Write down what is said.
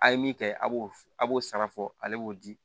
A' ye min kɛ a b'o a b'o sara fɔ ale b'o di